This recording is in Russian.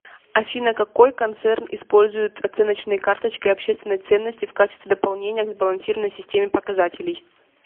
афина какой концерн использует оценочные карточки общественной ценности в качестве дополнения к сбалансированной системе показателей